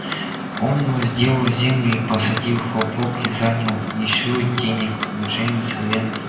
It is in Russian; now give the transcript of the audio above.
он возделал землю и посадил хлопок и занял ещё денег у джеймса и эндрю